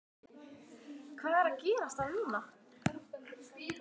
Hvað er að gerast þar núna?